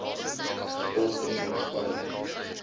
sport en ontspanning